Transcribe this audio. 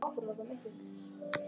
Greyið mitt